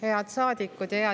Head rahvasaadikud!